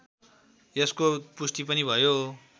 यसको पुष्टि पनि भयो